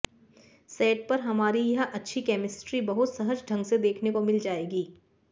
set पर हमारी यह अच्छी केमिस्ट्री बहुत सहज ढंग से देखने को मिल जाएगी